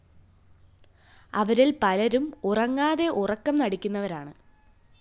അവരില്‍ പലരും ഉറങ്ങാതെ ഉറക്കം നടിക്കുന്നവരാണ്